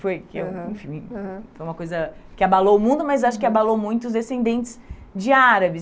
Foi eu, enfim, aham, aham, uma coisa que abalou o mundo, mas acho que abalou muito os descendentes de árabes.